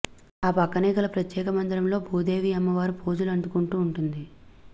ఆ పక్కనేగల ప్రత్యేక మందిరంలో భూదేవి అమ్మవారు పూజలు అందుకుంటూ వుంటుంది